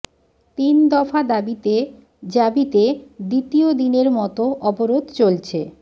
তিন দফা দাবিতে জাবিতে দ্বিতীয় দিনের মতো অবরোধ চলছে